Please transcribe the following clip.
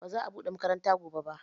Ba za a buɗe makaranta gobe ba